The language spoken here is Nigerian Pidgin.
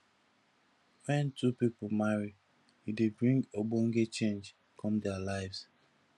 when two pipo marry e dey bring ogbonge change come their lives